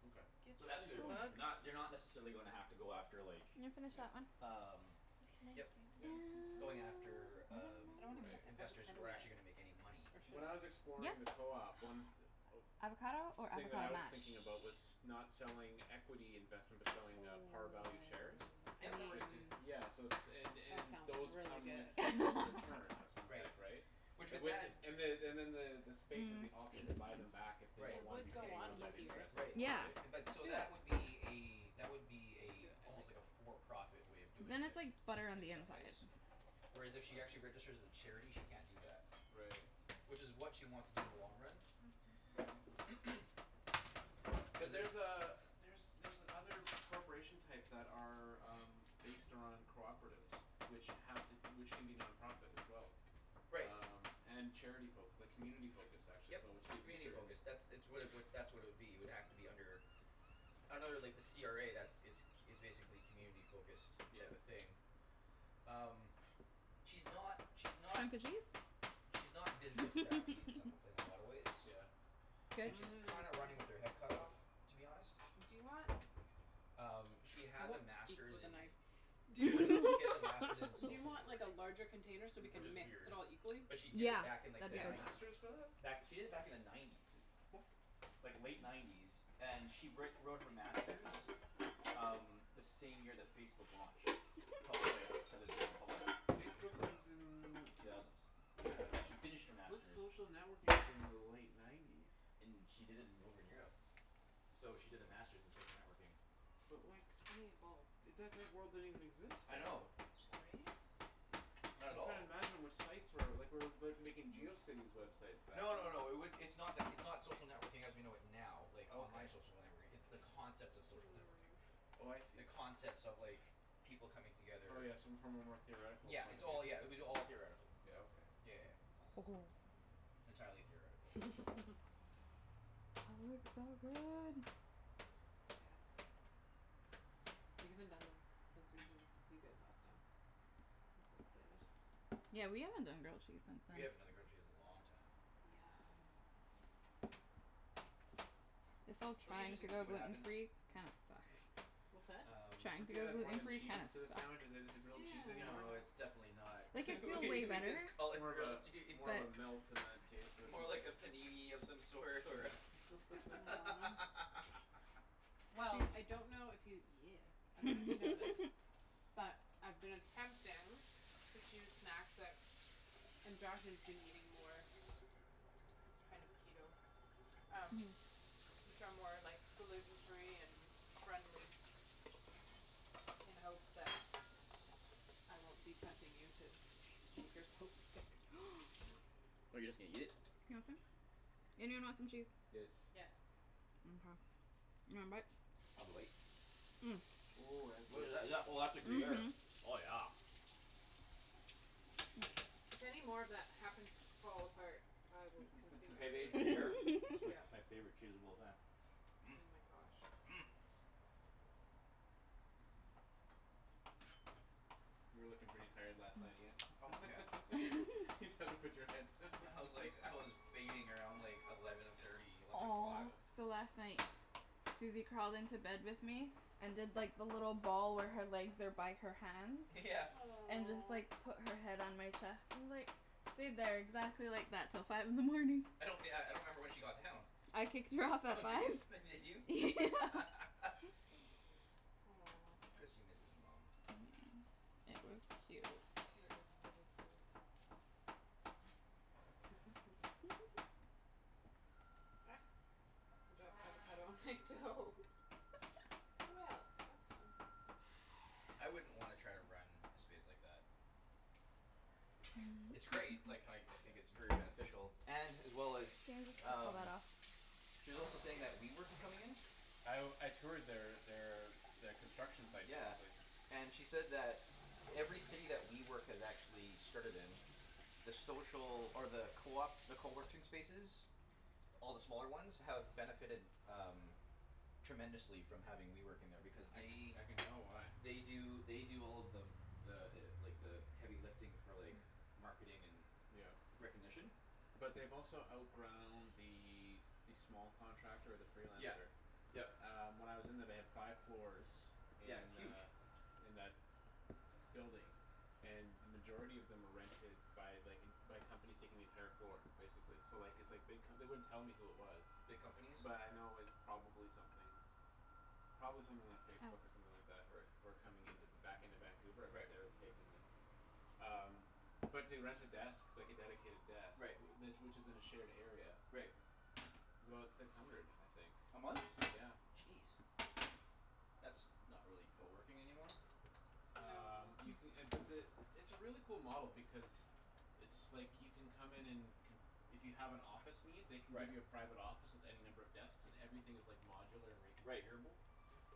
Okay. So Good that's as who they're a going bug. after. Ooh. Not they're not necessarily gonna have to go after like Can you finish Yeah. that one? Um What can I yep. Yep. do to help? Going after um I don't wanna cut the Right. investors who avocado are actually yet. gonna make any money. Or When should I was I? Yeah. exploring the co-op, one th- Avocado or thing that I avocado was mash? thinking about was not selling equity investment but I mean selling uh par value shares Yep that It works writ- too. yeah so it's and that and sounds those really come good. with return of some Right. type, right? Which And with with it that and the Hmm. and then the the space is the Mm, let's option do to this one. buy them back if they Right. don't It wanna be would go paying on out that easier. interest Right anymore, Yeah. right? but Let's so do it. that would be a that would be a Let's do it. I like almost like that. a for profit way of But doing then it's it like butter on in the some inside. ways. Whereas if she actually registers as a charity she can't do that. Right. Which is what she wants to do in the long run. But Cuz there's there's uh there's other corporation types that are um Based on cooperatives which have to which can be non-profit as well. Right. Um and charity focus like community focused actually is Yep. what which gives you Community certain focus. That's it's what it would that's what it would be it would have to be under Under like the CRA that's it's c- it's basically community focused type of Yep. thing. um She's not she's not Hunk o' She's not cheese? business-savvy in some wa- in a lot of ways. Yeah. Goat And she's cheese kind of running with her head cut off to be honest. Do you wanna Um she I has a won't speak master's with a in knife. Do funny she has a master's in do you social want like a networking. larger container so we Which can is Mhm. mix weird. it all equally? But she did Yeah, it back in They like that'd the be have great. K. nineties. masters for that? Back she did it back in the nineties. Like late nineties and she write wrote her master's Um the same year that Facebook launched. Pub- like to the general public. Facebook was in The two thousands. Yeah. Yeah she finished her What's master's social networking within the late nineties? In she did it in over in Europe. So she did the master's in social networking. But like I need a bowl. That that word didn't even exist I then know. though. Sorry. Not at I'm all. tryin' to imagine what sites were like we're like making Geocities websites back No no then. no it would it's not like it's not social networking as we know it now like online Okay. social networking it's the concept of social networking. Hmm. Oh I The see. concepts of like people coming Oh together yeah, so from a more theoretical Yeah point it's of all yeah it view. would be all theoretical. Yeah, okay. Yeah yeah yeah. Entirely theoretical. That looks so good. Gasp We haven't done this since we did this with you guys last time. I'm so excited. Yeah, we haven't done grilled cheese since We then. haven't done a grilled cheese in a long time. Yum. This whole It'll be trying to interesting to go see what gluten happens. free kinda sucks. What's that? Um. Trying Once to you go add more gluten than free kinda cheese to a sucks. sandwich is it is it grilled cheese anymore? No it's Yeah. definitely not Like I feel we way we better just call but it More of grilled a cheese. more of a melt in that case or More something. like a panini of some sort or Yeah, Naan Well I 'scuse. don't know if you yeah I dunno if you know this But I've been attempting to choose snacks that and Josh is eating more Kind of Keto Um which are more like gluten free and friendly in hopes that I won't be tempting you to eat Oh you're just gonna eat it? You want some? Anyone want some cheese? Yes. Yeah. Mkay, you want a bite? I'll have a bite. Ooh, that's What good. is that? Oh that's a gruyere. Mhm. Oh yeah. If any more of that happens to fall apart, I will consume Pavage it for you. gruyere is like Yeah. my favorite cheese of all time. Oh my gosh. You were lookin' pretty tired last night Ian. Oh yeah. Just had to put your head. I was like I was fading around like eleven thirty eleven Aw. o'clock. Yeah. So last night Susie crawled into bed with me And did like the little ball where her legs are by her hands Yeah. And just like put her head on my chest and just like Stayed there exactly like that till five in the morning. I don't yeah I don't remember when she got down. I kicked her off Oh at did five. f- did you? Yeah Aw It's cuz she Susie. misses mum. It was cute. is very cute. Ah, I dropped avocado on my toe Well, that's fun. I wouldn't wanna try to run a space like that. It's great like how y- I think it's Yeah. very beneficial and as well as Can you just pull um that off? She's also saying that WeWork is coming in? I w- I toured their their their construction site Yeah basically. and she said that Every city that WeWork has actually started in The social or the coop the coworking spaces All the smaller ones have benefited um Tremendously from having WeWork in there because I can they I can tell why. They do they do all of the The like the heavy lifting for like marketing and Yep. recognition. But they've also outgrown the s- the small contractor the Yeah, freelancer. yep. Um when I was in there they had five floors Yeah, it's in huge. uh In that building And then majority of them were rented by like en- by companies taking the entire floor basically so like it's like big co- they wouldn't tell me who it was. Big companies. But I know it's probably something Probably something like Facebook or Ow. something like that who are who are coming into back into Vancouver but Right. they're taking uh Um but to rent a desk like a dedicated desk Right. wh- tha- which is in a shared area Right. Is about six hundred, I think. A month? Yeah. Jeez. That's not really coworking anymore. Um you No ca- uh but the it's a really cool model because It's like you can come in and conf- if you have an office need they can give you a Right. private office with any number of desks and everything is like modular and Right. reconfigurable.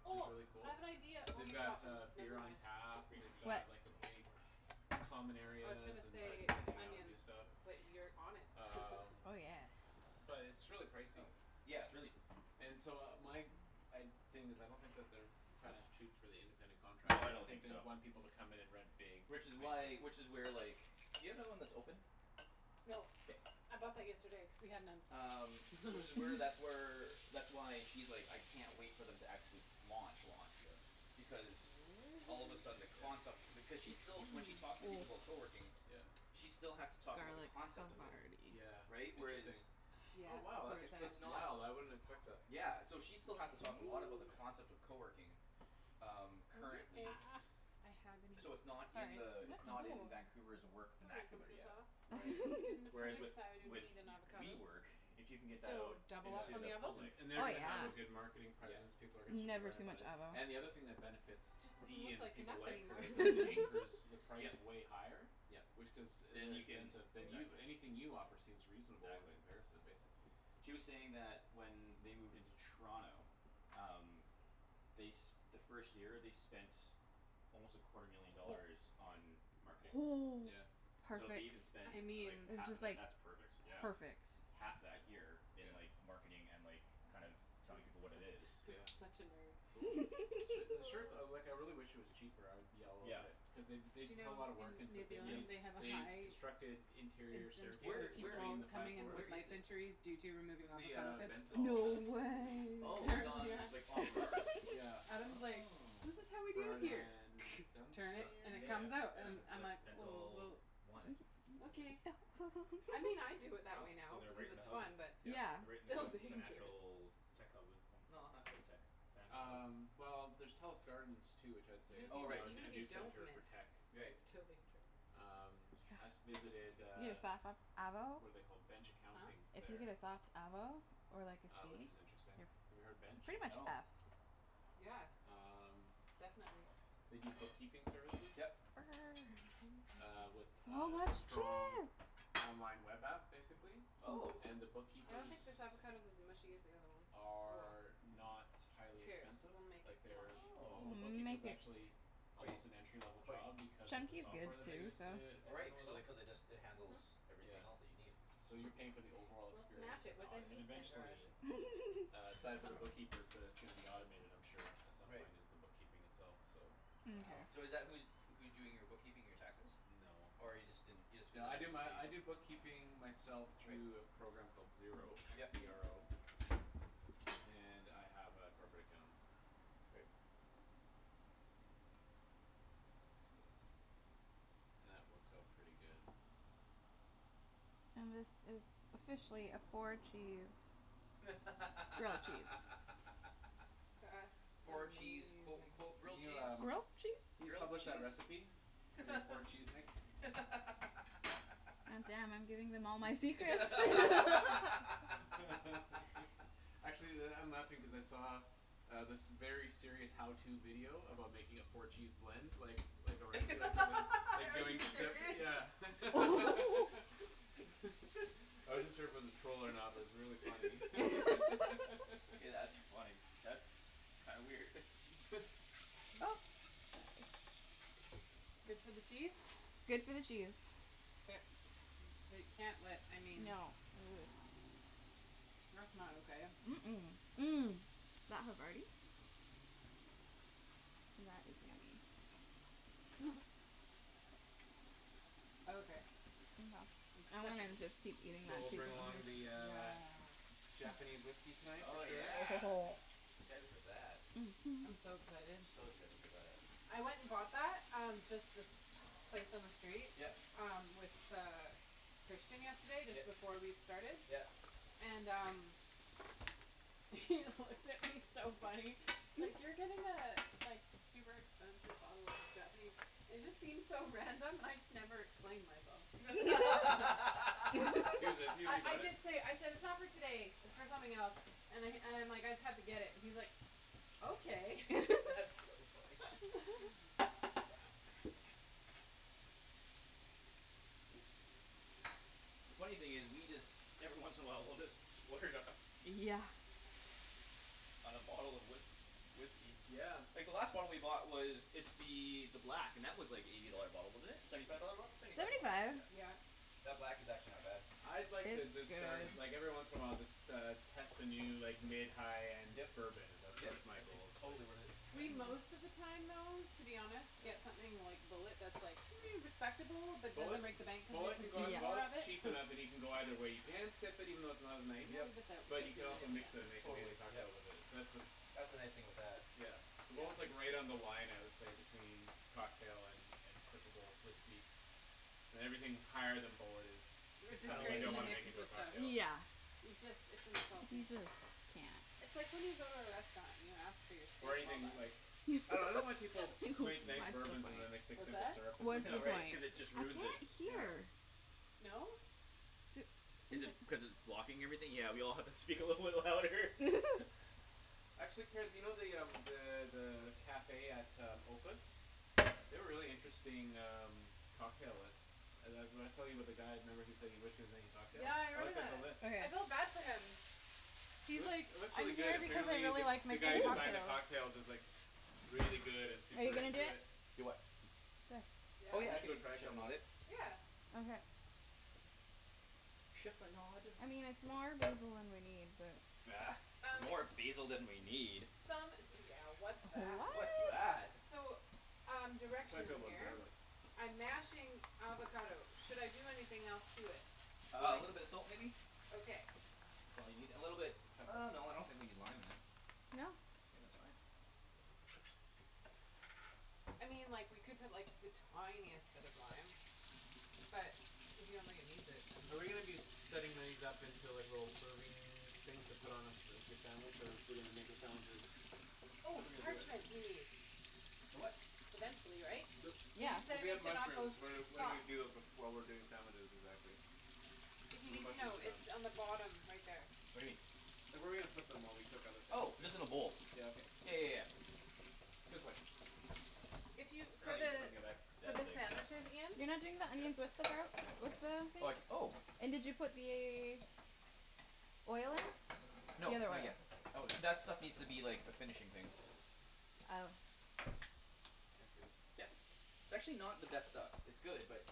Which is Oh really I cool. have an idea oh They've you got got them, uh beer never on mind. tap, Grape they've Oops. seed got What? like a big Common I was gonna areas and places say to hang out and do onions stuff but you're on it Um Oh yeah. But it's really Oh pricey. yeah, it's really And so my g- I'd thing is I don't think that they're Tryin' to shoot for the independent No I don't contractor think they so. want people to come in and rent big Which is spaces. why which is where like do you have one that's open? No K. I bought that yesterday cuz we had none Um which is where that's where That's why she's like, "I can't wait for them to actually launch launch." Yeah. Because all of a sudden the concept Yeah. because she's still when she talks to people about coworking Yeah. She still has to talk about the Garlic concept of it. Yeah havarti. Right? interesting. Whereas Yeah, Oh wow it's where it's that's It's at. it's that's not wow I wouldn't expect that. Yeah, so she still has to talk a lot about the Okay Yeah. concept of coworking. Um Wonder currently. if Ah I have any. So it's not in Sorry. the it's not in Vancouver's work Sorry vernacular yet. computah Right. you didn't Whereas with predict so I would with need an avocado. WeWork, if you can get that So out double up Into on the the avos? public. Oh yeah, And they're gonna have a good marketing presence, Yeah. people are gonna start to never learn too about much it. avo. And the other thing that benefits Just doesn't D look and like people enough like her anymore is that anchors the price Yep. way higher. Yep. Which cuz Then you can inexpensive. Then Oops. you anything you offer seems reasonable in Exactly. comparison basically. She was saying that when they moved into Toronto Um they s- the first year they spent Almost a quarter million dollars on marketing. Yeah. So if they Perfect. even spend I like mean. It's half of just that like that's perfect yeah. perfect. Half that here Yes. in Yeah. like marketing and like kind of Mhm. I'm telling people what su- it is I'm Yeah. such a nerd. Cool. Su- the sure co- like I really wish it was cheaper I would be all Yeah. over it. Cuz they b- Do they you put a know lotta work in into New it. Yep. Zealand they have a They high constructed interior incidence Where of staircases where between people the five coming in i- where with floors. is knife it? injuries due to It's removing in the avocado um pits? No Bentall I believe the way Oh it's Apparently on yeah. like on Burrard. Yeah. Adam's like, Oh. "This is how we do it Burrard here and turn it, Dun- and it Yeah Dunsmuir? comes out", yeah and Yeah. I'm like like like "Oh Bentall well". One. Okay. I mean I do it that Oh way so now they're because right in it's the hub. fun but Yeah. Yep. They're right it's in the still kind of the dangerous financial tech hub no not quite tech. Financial. Um well there's Telus Gardens too which I would say Even is if you Oh right. now d- a even a if you new don't center for miss tech. Right. it's still dangerous Um I s- Yeah. visited You uh got avo What're they called, Bench Huh? Accounting If you get there. a soft avo or like a Uh which seed is interesting. Have you you're heard f- Bench? pretty much No. effed. Yeah. Um Definitely. They do bookkeeping services. Yep. Uh with So a much strong cheese. online web app basically. Oh. And the I don't think bookkeepers this avocado's as mushy as the other one. Oh well. Are not Who highly cares, expensive. we'll make it Like smash. they're all the Oh. We'll bookkeeping is make it. actually Quite Almost an entry level quite. job because of the Chunky's good software that they too, use so. to Oh right handle it so all. they cuz it just it Mhm. handles everything else that Yeah. you need. So you're paying for the overall We'll smash experience it and the with a aut- and meat tenderizer. eventually Uh I side for the dunno. bookkeepers but it's gonna be automated I'm sure at some Right. point is the bookkeeping itself so. Wow Mkay. so is that who's who's doing your bookkeeping your taxes? No. Or you just didn't you just No I visited do to my I do see? bookkeeping myself Right. through a program called Xero, x Yep. e r o. And I have a corporate account. Right. That works out pretty good. And this is officially a four cheese grilled cheese. That's Four cheese amazing. quote unquote Can grilled cheese? Grilled cheese? you Grilled publish a cheese? recipe? For your four cheese mix? God damn, I'm giving them all my secrets Actually that I'm laughing cuz I saw Um this very serious how to video about making a four cheese blend like like a restaurant or Are you serious? something I wasn't sure if it was a troll or not but it was really funny Hey that's funny. That's kinda weird. Good for the cheese? Good for the cheese. K. They can't let I mean No. That's not okay. Mm- mm, That havarti. That is yummy. Okay, acceptable. So we'll bring along the uh Nah. Japanese whiskey tonight for Oh sure. yeah. Excited for that. Mhm. I'm so excited. So excited for that. I went and bought that um just this place on the street Yep. um with uh Christian yesterday just Yep, before we started yep. and um He looked at me he's so funny. He's like, "You're getting a like super expensive bottle of Japanese". And it just seemed so random and I just never explained myself. I nearly I bought it? did say, I said, "It's not for today. It's for something else." And I and I'm like, "I just have to get it." and he's like, "Okay." That's so funny. Oops. The funny thing is we just every once in a while we'll just splurge on Yeah. On a bottle of whisk- whiskey. Yeah. Like the last bottle we bought was it's the the black and that was like eighty Yeah. dollar a bottle wasn't it? Seventy five dollar bottle? Seventy five Seventy dollar bott- five. Yeah. Yeah. That black is actually not bad. I'd like uh to It's start good. like every once in a while just uh test a new like mid high end Yep bourbon is that's yep that's my that's ex- goal it's like totally worth it. yeah We most of the time though to be honest Yeah. get something like Bulleit that's like respectable but Bulleit doesn't break the bank cuz we Bulleit can can go consume more of Bulleit's it cheaper now that you can go either way you can sip it even though it's not I'm nice. gonna Yep. leave this out But because you we can need also it mix it and again. make Totally, amazing yep. cocktails with it that's uh That's the nice thing with that. Yeah. Yeah. Bulleit's right on the line I would say between cocktail and and sippable whiskey. And everything higher than Bulleit is R- Is kinda something you like disgrace don't to wanna mix make into a with stuff. cocktail. Yeah. It just it's We insulting. just can't. It's like when you go to a restaurant and you ask for your Or steak well using done. like I dunno I don't like What's people who make nice bourbons and then they the point? stick What's simple that? syrup in them What's the Yeah right right? point? cuz it just I can't ruins it. Yeah. hear. No? Is it cuz it's blocking everything? Yeah we all have to speak a little bit louder Actually, Ped you know the um the the cafe at um Opus? They have a really interesting um cocktail list Uh the w- I was telling you about the guy remember who said he wished he was making cocktails? Yeah I I looked remember at the that. list. I Okay. felt bad for him. It He's like, looks it looks really "I'm good. here because I Apparently the really like the guy who making designs the cocktails." cocktails is like Really good and Are super you gonna do into it. it? Do what? This. Oh Yeah? yeah We I should can go try a like chip in couple. a bit. Yeah. Okay. Chiffonade I mean it's more basil than we need, but Bah, Um more basil than we need? Some d- yeah what's that? What's What? that? So um I plan to direction fill up in on here. garlic. I'm mashing avocado. Should I do anything else to it? Uh a Like, little bit of salt maybe? okay. That's all you need a little bit Pepper. uh no I don't think we need lime in it. No. Think that's fine. I mean like we could put like the tiniest bit of lime. But if you don't think it needs it Are we gonna then be setting these up into like little serving things to put on a like your sandwich or are we gonna make the sandwiches How're Oh, we gonna do parchment it? we need. For what? Eventually, right? So Cuz Yeah. you so said we we have need to not go mushrooms. What are what do we soft. do while we're doing sandwiches exactly? If you When the need to mushrooms know, are it's done. on the bottom right there. What do you mean? Like where are we gonna put them while we cook other Oh things just in in a there? bowl. Yeah Yeah okay. yeah yeah yeah. Good question If you for the for that the big. sandwiches, Ian You're not doing Is the this onions with his? the gar- with the Like thing? oh And did you put the Oil in? No The other not oil. yet. That was that stuff needs to be like a finishing thing. Oh. Can I see this? Yep. It's actually not the best stuff. It's good but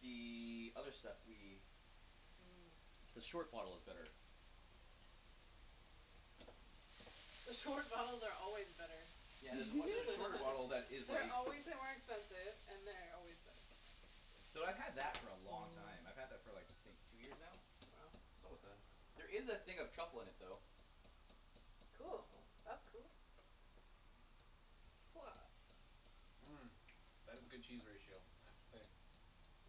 The other stuff we The short bottle is better. The short bottles are always better. Yeah there's a on- there's a shorter bottle that is They're like always way more expensive and they're always better. Though I've had that for a long time. I've had that for like I think two years now? Wow. It's almost done. There is a thing of truffle in it though. That's Cool. cool. That's cool. That is a good cheese ratio I have to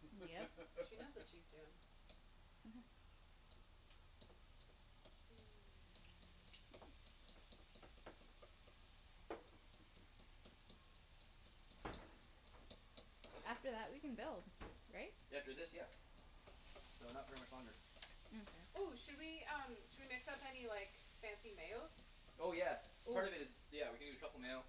say. Yep. She knows what she's doin'. After that we can build, right? After this, yeah. So not very much longer. Okay. Oh, should we um should we mix up any like fancy mayos? Oh yeah. Oh. Part of it is. Yeah we can do a truffle mayo.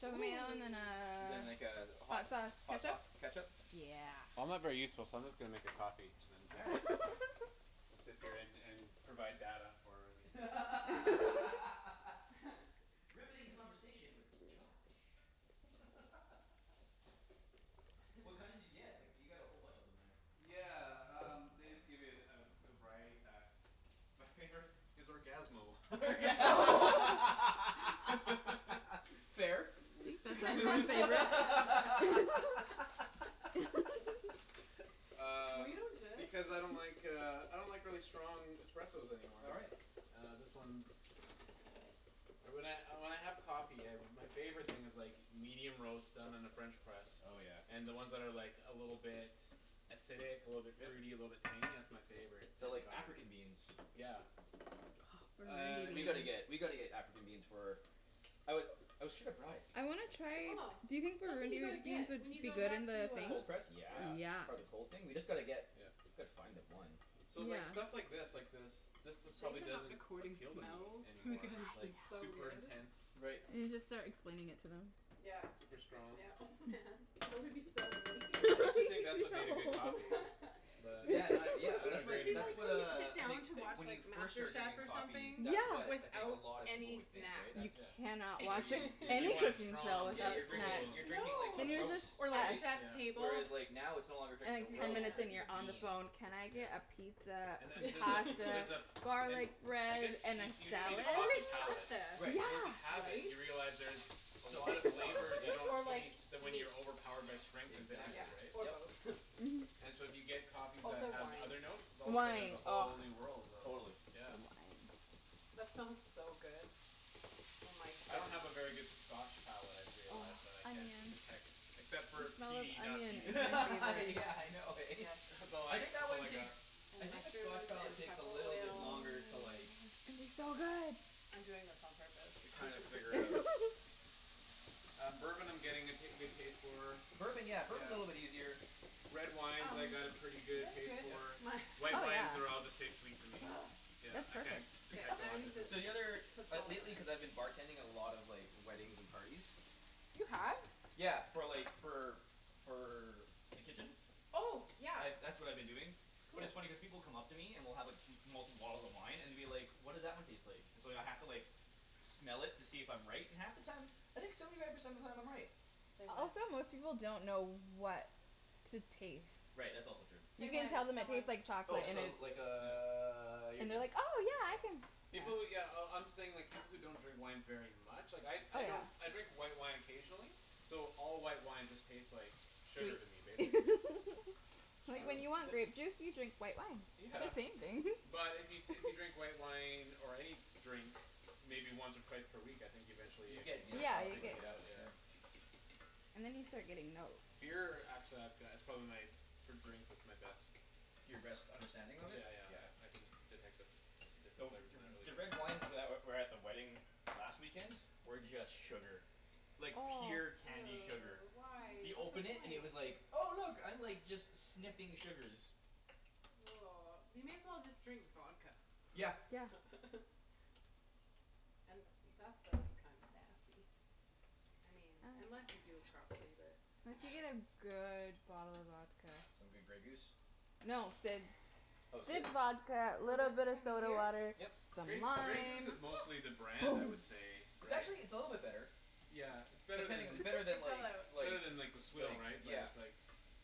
Truffle mayo and then Then like a a hot hot sauce hot ketchup? sauce ketchup Yeah. I'm not very useful so I'm just gonna make a coffee and then All drink right. it. It's appearin' and provide data for the internet. Riveting conversation with Josh. What kind did you get? Like du- you got a whole bunch in there. Yeah um they just give it a a variety pack. My favorite is Orgasmo. Orga- Fair. The favorite Were Um you and Jeff? because I don't like uh I don't like really strong espressos anymore. All right. Uh this one's Uh when I uh when I have coffee my favorite thing is like medium roast done in a french press. Oh yeah. And then ones that are like a little bit Acidic, a little bit fruit a Yep. little bit tangy. That's my favorite So type of like African coffee. beans. Yeah. Ah Uh Burundi We it's gotta beans. get we gotta get African beans for oh we shoulda brought it. I wanna Yeah. try Oh, do you think that's what you Burundi gotta wo- beans get would when you be go good in back to the thing? uh Cold press? Yeah. Yeah? Yeah. Part of the cold thing? We just gotta get Yeah. Gotta find them, one. So like Yeah. stuff like this like this this It's a just shame probably we're not doesn't recording appeal to me smells anymore because like it's so super good. intense. Right. And you just start explaining it to them. Yeah Super strong. yeah oh man that would be so mean I used to think that's what made a good coffee. But Yeah no I yeah don't that's It what agree would be anymore. that's like what when you uh sit I down think to Like watch when you like first Master start Chef drinking or coffees something Yeah. that's what I think a without lot of people any would think snacks. right You that's Yeah. cannot Where watch you you're Like you any drinking want it cooking strong show cuz Yeah without you're you're drinking cool. you're snacks. No. drinking like the Then you're roast just Or like right? effed Chef's Yeah. Table. Whereas like now it's no longer drinking And like You the ten roast you're minutes can't. and drinking you're the on the bean. phone, "Can I get a Yeah. pizza, And that some there's a fl- there's pasta, a f- garlic and I bread, guess and you a you do need salad?" It's a coffee always palate, pasta, but Right. once you Yeah. have it right? you realize there's A So lot of much more, flavors you yes. don't Or like taste when meat. you're overpowered by strength and Exactly, Yeah. bitterness, right? Or yep. both. And so if you get coffee that Also have other wine. notes All of a sudden there's Wine, a oh. whole new world of Totally. The yeah. wine. That smells so good. Oh my I don't have a very good goodness. scotch palate I've Oh, realized that I can't onions. detect Except for The a smell of peaty and not onion peaty is my favorite. Yeah I know eh? Yes. That's It's all I I think that that's all one I got. takes I And think the scotch mushrooms, and palate takes a truffle little bit oil. Uh longer it's to like going to be so good. I'm doing this on purpose To kinda figure out. Um bourbon I'm getting a ta- good taste for Bourbon yeah Yeah. bourbon's a little bit easier. Red wines I Um, got a pretty is good this taste good? for My Oh White wines they're all yeah. just taste sweet to me. Yeah That's I can't perfect. K, detect a now I lot of need to differences. So the other put like salt in lately it. cuz I've been bartending a lot of like weddings and parties You have? Yeah for like for for the kitchen? Oh yeah, I've that's what I've been doing But it's funny cuz cool. people come up to me and will have m- multiple bottles of wine and will be like, "What does that one taste like?" And so I'd h- have to like smell it to see if I'm right and half the time I think seventy five percent of the time I'm right. Say Also when. most people don't know what to taste. Right that's also true. Say You can when, tell them it someone. tastes like Oh chocolate and this'll it's like uh you're And they're good. like, "Oh yeah I Yeah. can". Yeah. People who yeah oh I'm saying people who don't drink wine very much. Like I Oh I yeah. don't I drink white wine occasionally So all white wine just taste like Sugar to me Shitty basically. It's Uh Like when true. you want th- grape juice you drink white wine. They're the Yeah. same thing But if you t- if you drink white wine or any Drink maybe once or twice per week I think eventually You you could get Yeah, you get start a palate you for it picking get it yeah out for yeah. sure. And then you start getting notes. Beer actually I've go- it's probably my for drink that's my best. Your best Yeah understanding of it? yeah Yeah. yeah I can detect the different different Though flavors in th- that really the red good. wines that were at the wedding last weekend were just sugar. Like pure candy sugar. Ew, why You what's the open it and it point? was like Oh look I'm like just sniffing sugars. You may as well just drink vodka Yeah. Yeah. And that stuff's kinda nasty I mean unless you do it properly but Unless you get a good bottle of vodka. Some good Grey Goose? No, Sid's Oh Sid's Sid's vodka, So little this bit of can be soda here? water, Yep. some Grey Grey Goose lime. is mostly the brand I would say, It's right? actually it's a little bit better. Yeah, it's better Pretending i- than better It than fell like out. It's like better than like the swill right? like But yeah it's like